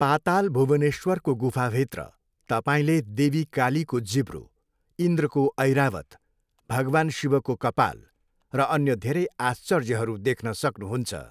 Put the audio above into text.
पाताल भुवनेश्वरको गुफाभित्र तपाईँले देवी कालीको जिब्रो, इन्द्रको ऐरावत, भगवान् शिवको कपाल र अन्य धेरै आश्चर्यहरू देख्न सक्नुहुन्छ।